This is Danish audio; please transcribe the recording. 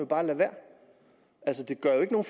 bare lade være altså det gør jo ikke nogen